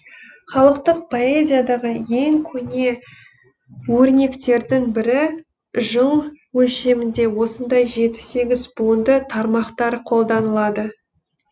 халықтық поэзиядағы ең көне өрнектердің бірі жыл өлшемінде осындай жеті сегіз буынды тармақтар қолданылады